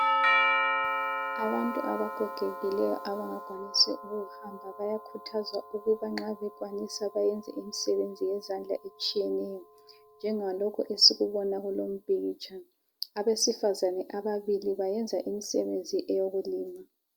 Abantu abagogekileyo abangakwanisiyo ukuhamba bayakhuthazwa ukuba nxa bekwanisa bayenze imsebenzi yezandla etshiyeneyo njengalokhu esikubona kulo umpikitsha. Abesifazane ababili bayenza imsebenzi eyokulima.